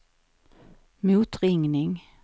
motringning